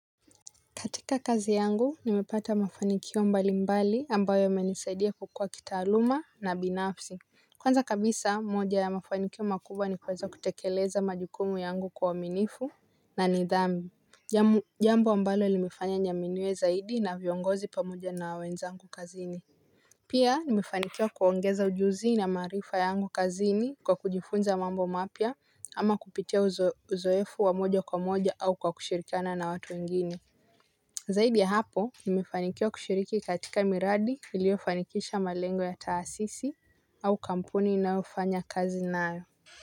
Katika kazi yangu nimepata mafanikio mbali mbali ambayo yamenisaidia kukua kitaaluma na binafsi. Kwanza kabisa moja ya mafanikio makubwa ni kueza kutekeleza majukumu yangu kwa uaminifu na nidhamu. Jambo ambalo limefanya niaminiwe zaidi na viongozi pamoja na wenzangu kazini. Pia nimefanikiwa kuongeza ujuzi na maarifa yangu kazini kwa kujifunza mambo mapya ama kupitia uzoefu wa moja kwa moja au kwa kushirikiana na watu wengine. Zaidi ya hapo nimefanikiwa kushiriki katika miradi iliyofanikisha malengo ya taasisi au kampuni ninayofanya kazi nayo.